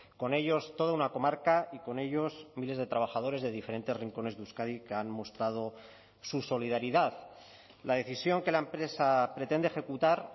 con ellos toda una comarca y con ellos miles de trabajadores de diferentes rincones de euskadi que han mostrado su solidaridad la decisión que la empresa pretende ejecutar